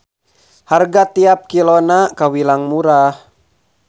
Harga tiap kilona kawilang murah.